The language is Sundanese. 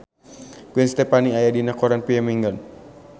Gwen Stefani aya dina koran poe Minggon